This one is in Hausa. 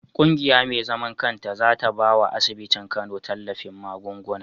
Kungiya me zaman kanta zata bawa asibitin kano tallafin magunguna